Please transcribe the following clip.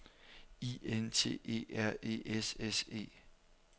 I N T E R E S S E